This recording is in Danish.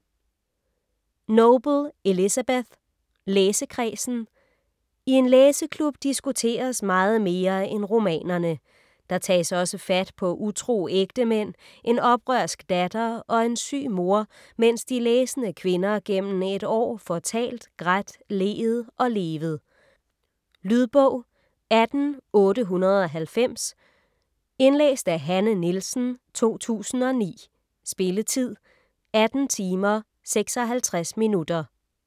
Noble, Elizabeth: Læsekredsen I en læseklub diskuteres meget mere end romanerne. Der tages også fat på utro ægtemænd, en oprørsk datter og en syg mor, mens de læsende kvinder gennem et år får talt, grædt, leet og levet. Lydbog 18890 Indlæst af Hanne Nielsen, 2009. Spilletid: 18 timer, 56 minutter.